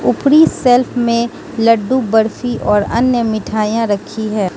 ऊपरी शेल्फ मे लड्डू बर्फी और अन्य मिठाइयां रखी है।